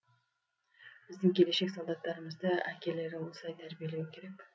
біздің келешек солдаттарымызды әкелері осылай тәрбиелеуі керек